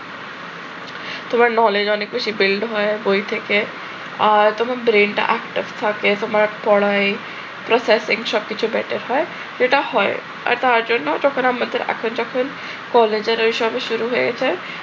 তোমার knowledge অনেক বেশি build হয় বই থেকে। আর তোমার brain টা active থাকে, তোমার পড়ায় processing সব কিছু better হয়। যেটা হয় আর কার জন্য যখন আমাদের এখন যখন কলেজের ওই সব শুরু হয়েছে